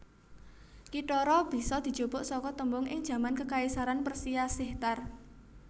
Kithara bisa dijupuk saka tembung ing jaman kekaisaran Persia sihtar